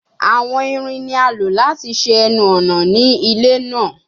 Awọn irin ni a lo lati ṣe ẹnu-ọna ni ile naa